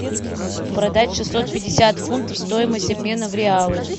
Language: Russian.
продать шестьсот пятьдесят фунтов стоимость обмена в реалы